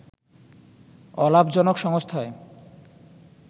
অলাভজনক সংস্থায়